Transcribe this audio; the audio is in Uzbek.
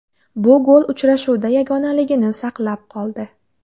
Bu gol uchrashuvda yagonaligini saqlab qoldi.